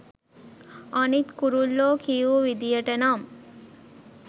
අනිත් කුරුල්ලෝ කියූ විදියට නම්